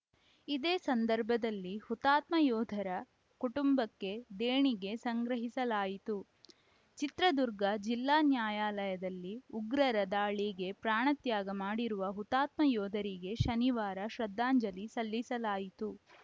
ಇದೇ ಸಂದರ್ಭದಲ್ಲಿ ಹುತಾತ್ಮ ಯೋಧರ ಕುಟುಂಬಕ್ಕೆ ದೇಣಿಗೆ ಸಂಗ್ರಹಿಸಲಾಯಿತು ಚಿತ್ರದುರ್ಗ ಜಿಲ್ಲಾ ನ್ಯಾಯಾಲಯದಲ್ಲಿ ಉಗ್ರರ ದಾಳಿಗೆ ಪ್ರಾಣತ್ಯಾಗ ಮಾಡಿರುವ ಹುತಾತ್ಮ ಯೋಧರಿಗೆ ಶನಿವಾರ ಶ್ರದ್ಧಾಂಜಲಿ ಸಲ್ಲಿಸಲಾಯಿತು